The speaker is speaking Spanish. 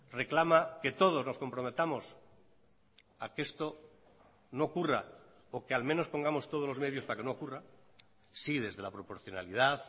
reclama que todos nos comprometamos a que esto no ocurra o que al menos pongamos todos los medios para que no ocurra sí desde la proporcionalidad